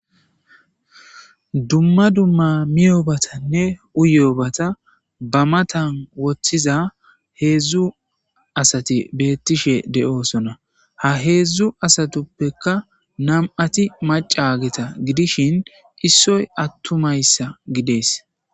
Dumma dumma miyoobatanne uyobata ba matan woththiza heedzdzu asati beettishe de'oosona ha heedzdzu asatuppekka nam'ati macageta gidishin issoy attumayssa gidees